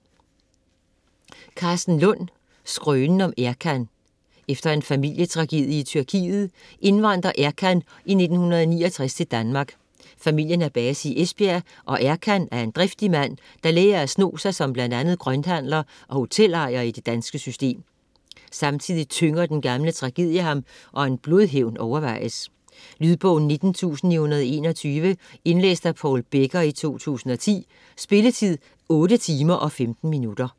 Lund, Karsten: Skrønen om Erkan Efter en familietragedie i Tyrkiet indvandrer Erkan i 1969 til Danmark. Familien har base i Esbjerg, og Erkan er en driftig mand, der lærer at sno sig som bl.a. grønthandler og hotelejer i det danske system. Samtidig tynger den gamle tragedie ham, og en blodhævn overvejes. Lydbog 19921 Indlæst af Paul Becker, 2010. Spilletid: 8 timer, 15 minutter.